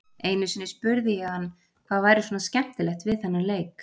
Einu sinni spurði ég hann hvað væri svona skemmtilegt við þennan leik.